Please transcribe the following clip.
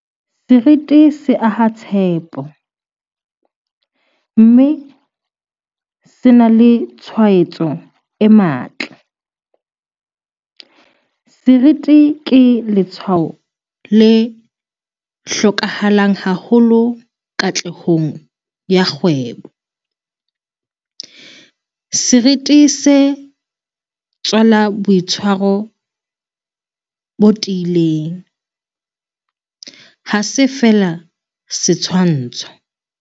Seriti se aha tshepo, mme se na le tshwaetso e matla. Seriti ke letshwao le hlokahalang haholo katlehong ya kgwebo. Seriti se tswala boitshwaro bo tiileng, ha se feela setshwantsho.